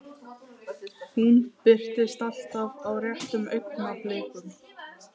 Hún birtist alltaf á réttum augnablikum.